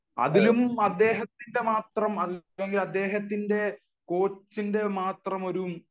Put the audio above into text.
അതിലും അദ്ദേഹത്തിന്റെ മാത്രം അല്ലെങ്കിൽ കോച്ചിന്റെ മാത്രം